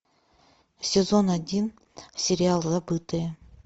сезон один сериал забытые